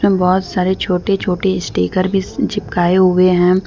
बहोत सारे छोटे छोटे स्टीकर भी चिपकाए हुए हैं।